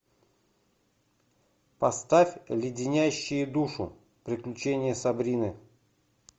поставь леденящие душу приключения сабрины